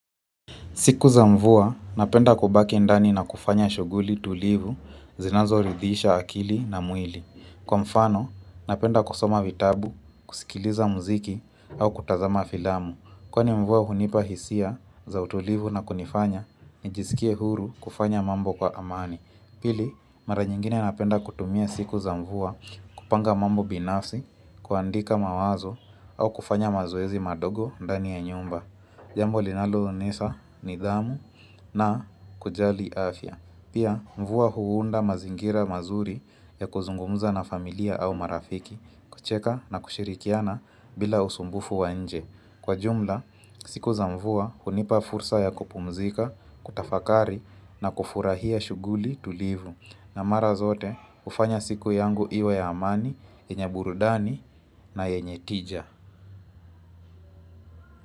Siku za mvua, napenda kubaki ndani na kufanya shuguli tulivu zinazoridhisha akili na mwili. Kwa mfano, napenda kusoma vitabu, kusikiliza mziki au kutazama filamu. Kwani mvua hunipa hisia za utulivu na kunifanya, nijizikie huru kufanya mambo kwa amani. Pili, mara nyingine napenda kutumia siku za mvua kupanga mambo binafsi, kuandika mawazo au kufanya mazoezi madogo ndani ya nyumba. Jambo linaloonyesa nidhamu na kujali afya Pia mvua huunda mazingira mazuri ya kuzungumuza na familia au marafiki kucheka na kushirikiana bila usumbufu wa nje Kwa jumla, siku za mvua hunipa fursa ya kupumzika, kutafakari na kufurahia shuguli tulivu na mara zote, ufanya siku yangu iwa ya amani, yenye burudani na yenye tija.